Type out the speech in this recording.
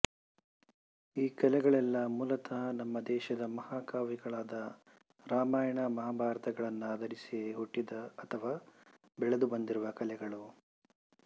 ಈ ಕಲೆಗಳೆಲ್ಲಾ ಮೂಲತಃ ನಮ್ಮ ದೇಶದ ಮಹಾಕಾವ್ಯಗಳಾದ ರಾಮಾಯಣ ಮಹಾಭಾರತಗಳನ್ನಾಧರಿಸಿಯೇ ಹುಟ್ಟಿದ ಅಥವಾ ಬೆಳೆದು ಬಂದಿರುವ ಕಲೆಗಳು